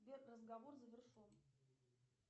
сбер разговор завершен